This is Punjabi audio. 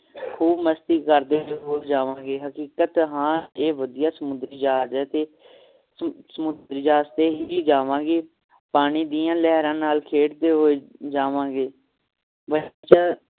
ਖੂਬ ਮਸਤੀ ਕਰਦੇ ਹੋਏ ਜਾਵਣਗੇ ਹਕੀਕਤ ਹਾਂ ਇਹ ਵਧੀਆ ਸਮੁੰਦਰੀ ਜਹਾਜ ਏ ਤੇ ਸਮੁੰਦਰੀ ਜਹਾਜ ਤੇ ਹੀ ਜਾਵਣਗੇ ਪਾਣੀ ਦੀਆਂ ਕਹਿਰਾਂ ਨਾਲ ਖੇਡ ਦੇ ਹੋਏ ਜਾਵਾਂਗੇ